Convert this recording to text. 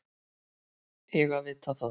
Eiga að vita það.